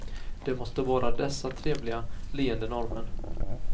Det måste vara dessa trevliga, leende norrmän.